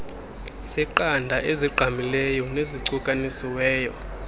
seqanda ezigqamileyo nezicukanisiweyo